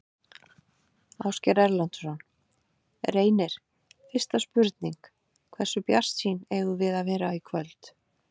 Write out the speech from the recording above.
Ásgeir Erlendsson: Reynir, fyrsta spurning, hversu bjartsýn eigum við að vera í kvöld?